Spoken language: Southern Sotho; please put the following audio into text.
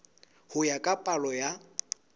ho ya ka palo ya